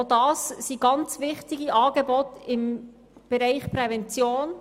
Auch dies sind sehr wichtige Angebote im Bereich der Prävention.